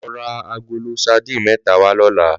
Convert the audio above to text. Lò rà àgóló sàdín mètá wá lòlá